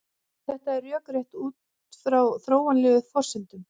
Þetta er rökrétt út frá þróunarlegum forsendum.